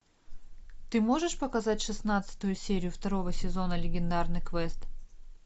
ты можешь показать шестнадцатую серию второго сезона легендарный квест